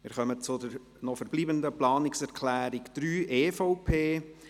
Wir kommen zur noch verbleibenden Planungserklärung 3, EVP.